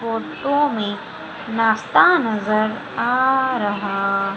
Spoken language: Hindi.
फोटो में नाश्ता नजर आ रहा--